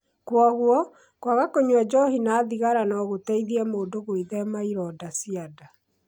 Kwoguo, kwaga kũnyua njohi na thigara no gũteithie mũndũ gwĩthema ironda cia nda